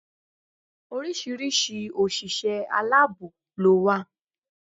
Oríṣiríṣi òṣìṣẹ́ aláàbò ló wà